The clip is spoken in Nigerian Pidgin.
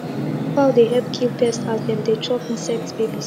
fowl dey help kill pest as dem dey chop insect babies